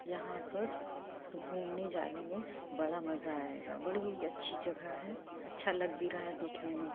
यहां पर घूमने जाने में बड़ा मज़ा आएगा। बड़ी ही अच्छी जगह है अच्छा लग भी रहा है देखने में।